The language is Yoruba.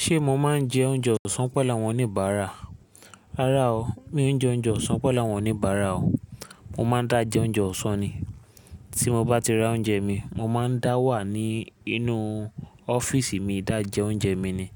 Ṣé mo máa ń jẹ oúnjẹ ọ̀sán pẹ̀lú àwọn oníbàárà? Rárá o, mi ò jẹ oúnjẹ ọ̀sán pẹ̀lú àwọn oníbàárà o. Mo máa ń dá jẹ oúnjẹ ọ̀sán ni. Tí mo bá ti ra oúnjẹ mi, mo máa ń dá wà ní inú ọ́fíísì mi dá jẹ oúnjẹ mi ni.